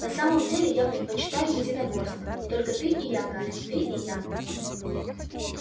на самом-то деле я предпочитаю единоборства только ты и я гарри ты и я